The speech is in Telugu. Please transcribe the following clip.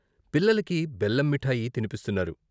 పిల్లలకి బెల్లం మీఠాయి తినిపిస్తున్నారు.